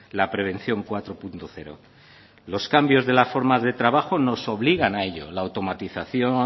la prevención cuatro punto cero los cambios de la forma de trabajo nos obligan a ello la automatización